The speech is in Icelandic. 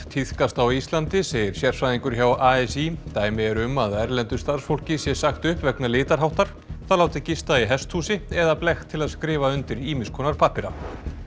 tíðkast á Íslandi segir sérfræðingur hjá a s í dæmi eru um að erlendu starfsfólki sé sagt upp vegna litarháttar það látið gista í hesthúsi eða blekkt til að skrifa undir ýmsa pappíra